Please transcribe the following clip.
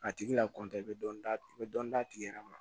A tigi la i bɛ dɔɔnin d'a tigi bɛ dɔɔnin d'a tigi yɛrɛ ma